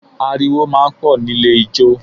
Ariwo máa ń pọ̀ nílé ijó